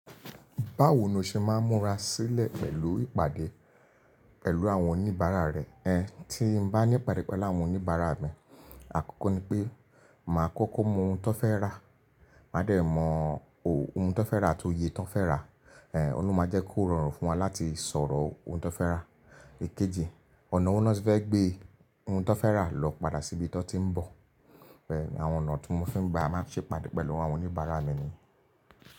Báwo ni o ṣe máa ń múra sílẹ̀ pẹ̀lú ìpàdé pẹ̀lú àwọn oníbàárà rẹ? Ẹn, tí n bá ní ìpàdé pẹ̀lú àwọn oníbàárà mi, àkọ́kọ́ ni pé màá kọ́kọ́ mọ ohun tan fẹ́ rà, màá dẹ̀ mọ ohun tó fẹ́ rà àti oye tán fẹ́ rà. Ẹn, Oun lo máa jẹ́ kó rọrùn fún wa láti sọ̀rọ̀ ohun tó fẹ́ rà. Èkejì, ọ̀nà wo na ti fẹ́ gbé ohun tán fẹ́ rà lọ padà síbi tán ti ń bọ̀. Ẹn, àwọn ọ̀nà tí mo fi ń gba máa ń ṣe ìpàdé pẹ̀lú àwọn oníbàárà mi ni.